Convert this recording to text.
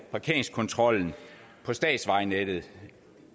parkeringskontrollen på statsvejnettet